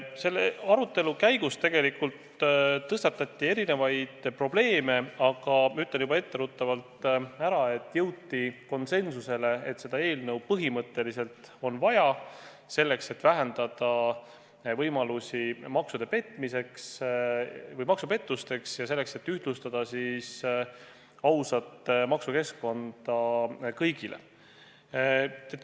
Istungi arutelu käigus tõstatati erinevaid probleeme, aga ma ütlen juba etteruttavalt ära, et jõuti konsensusele, et seda eelnõu põhimõtteliselt on vaja – selleks, et vähendada võimalusi maksupettusteks, ja selleks, et ühtlustada ausat maksukeskkonda kõigile.